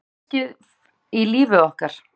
Einhver kaflaskil í lífi okkar.